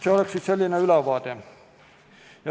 See oli selline ülevaade.